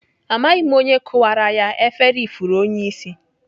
Amaghị m onye kụwara ya efere ifuru onyeisi